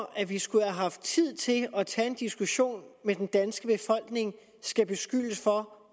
at vi skulle have haft tid til at tage en diskussion med den danske befolkning skal beskyldes for